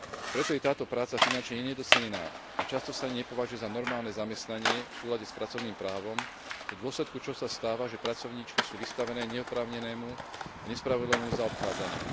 Preto je táto práca finančne nedocenená a často sa nepovažuje za normálne zamestnanie v súlade s pracovným právom, v dôsledku čoho sa stáva, že pracovníčky sú vystavené neoprávnenému a nespravodlivému zaobchádzaniu.